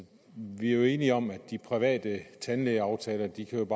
vi er jo enige om at de private tandlægeaftaler ikke